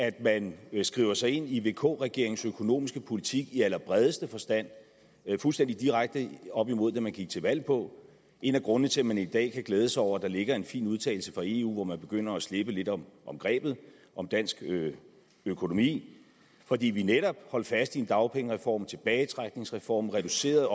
at man skriver sig ind i vk regeringens økonomiske politik i allerbredeste forstand fuldstændig direkte op imod det man gik til valg på en af grundene til at man i dag kan glæde sig over at der ligger en fin udtalelse fra eu hvor man begynder at slippe lidt om grebet om dansk økonomi fordi vi netop holdt fast i en dagpengereform en tilbagetrækningsreform reducerede